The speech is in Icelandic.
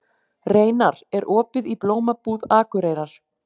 Reynar, er opið í Blómabúð Akureyrar?